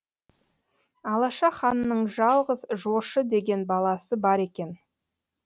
алаша ханның жалғыз жошы деген баласы бар екен